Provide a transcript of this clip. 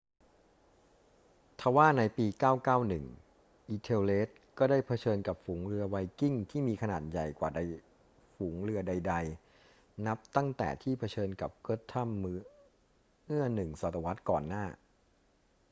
ทว่าในปี 991 ethelred ก็ได้เผชิญกับฝูงเรือไวกิ้งที่มีขนาดใหญ่กว่าใดฝูงเรือใด ๆ นับตั้งแต่ที่เผชิญกับ guthrum เมื่อหนึ่งศตวรรษก่อนหน้า